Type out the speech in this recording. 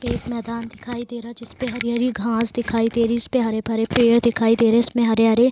एक मैदान दिखाई दे रहा जिसपे हरी-हरी घास दिखाई दे रही। इसपे हरे भरे पेड़ दिखाई दे रहे। इसमें हरे-हरे --